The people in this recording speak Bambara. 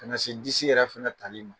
Ka na se disi yɛrɛ fɛnɛ talima.